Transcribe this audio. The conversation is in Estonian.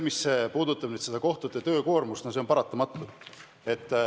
Mis puudutab kohtute töökoormust, siis see on paratamatu.